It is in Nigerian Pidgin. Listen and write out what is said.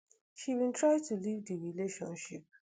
she bin try to leave di relationship